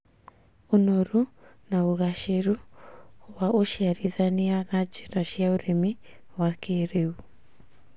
ũnoru na ũgacĩru wa ũciarithania na njĩra cia ũrĩmi wa kĩrĩu,